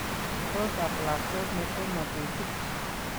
Koot ap lakwet netoma kesich